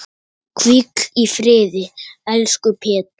Hvíl í friði, elsku Pétur.